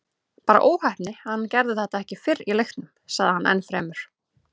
Bara óheppni að hann gerði þetta ekki fyrr í leiknum, sagði hann ennfremur.